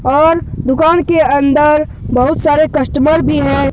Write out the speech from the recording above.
और दुकान के अंदर बहुत सारे कस्टमर भी है।